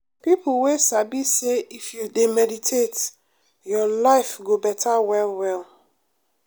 people wey sabi say if you dey meditate your life go better well well.